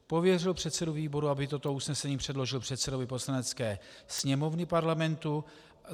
Pověřil předsedu výboru, aby toto usnesení předložil předsedovi Poslanecké sněmovny Parlamentu.